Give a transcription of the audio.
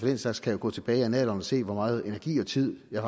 den slags kan jo gå tilbage i annalerne og se hvor meget energi og tid jeg